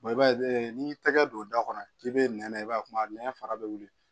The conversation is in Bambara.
i b'a ye n'i y'i tɛgɛ don da kɔnɔ k'i bɛ nɛnɛ i b'a ye kuma nɛnɛ fara bɛ